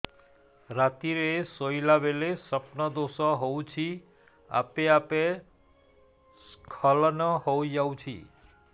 ରାତିରେ ଶୋଇଲା ବେଳେ ସ୍ବପ୍ନ ଦୋଷ ହେଉଛି ଆପେ ଆପେ ସ୍ଖଳନ ହେଇଯାଉଛି